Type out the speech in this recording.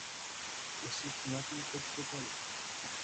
Isup ng'atutik tukul